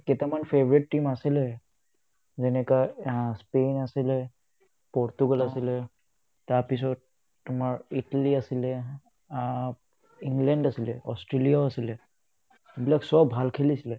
মোৰ কেইটামান favourite team আছিলে যেনেকা আহ্ স্পিন আছিলে, পৰ্তুগাল আছিলে তাৰপিছত তোমাৰ ইটলী আছিলে আ ইংলেণ্ড আছিলে, অষ্ট্ৰেলিয়াও আছিলে এইবিলাক চব ভাল খেলিছিলে